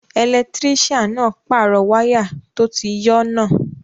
Ẹlẹtírísíàn náà pàrọ̀ wáyà tó ti yọ́ náà